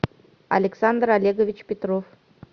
александр олегович петров